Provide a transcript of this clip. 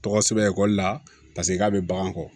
Tɔgɔ sɛbɛn ekɔli la paseke k'a bɛ bagan kɔ